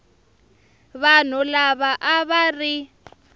vanhu lava a va ri